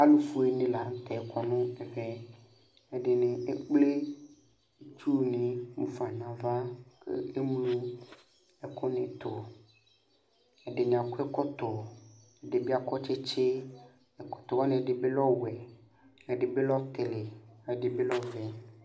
Alu fueni la nu tɛ kɔ nu ɛvɛ Edini ekple itsuni ɣafa nu ava Eŋlo ɛkuni tu Ɛdini akɔ ɛkɔtɔ ɛdini akɔ tsitsi ɛkɔtɔwani ɛdibi lɛ ɔwɛ ɛdibi lɛ ɔtili ɛdibi lɛ ɔvɛ